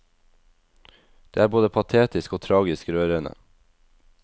Det er både patetisk og tragisk rørende.